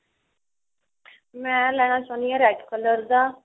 ਮੈਂ ਲੈਣਾ ਚਾਹੁੰਦੀ ਹਾਂ red color ਦਾ